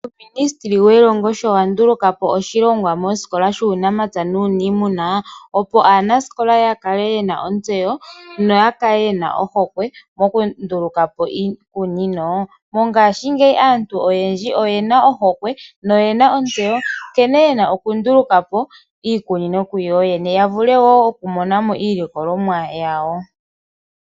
Uuministeli welongo sho wandulukapo oshilongwa mosikola shuunamapya nuuniimuna opo aanasikola ya kale yena ontsewo noya kale yena ohokwe mokundulukapo iikunino. Mongashingeyi aantu oyendji oyena ohokwe noyena ontsewo nkene yena okundulukapo iikunino kuyoyene yavule woo okumonamo iilikolomwa yawo.